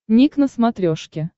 ник на смотрешке